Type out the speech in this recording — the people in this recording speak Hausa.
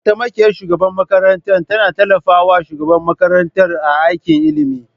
Mataimakiyar shugaban makarantar tana tallafa wa shugaban makarantar a aikin ilimi.